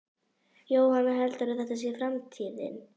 Jóhann: Heldurðu að þetta sé framtíðin?